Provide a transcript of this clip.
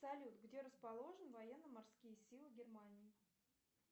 салют где расположены военно морские силы германии